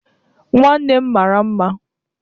Nwannem mara mma